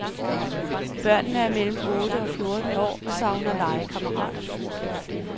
Børnene er mellem otte og fjorten år og savner legekammerater.